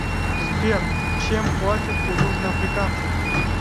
сбер чем платят у южноафриканцев